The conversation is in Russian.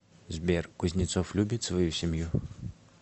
сбер кузнецов любит свою семью